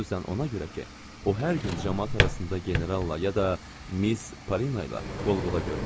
Xüsusən ona görə ki, o hər gün camaat arasında generalla ya da Miss Polina ilə qol-qola görünür.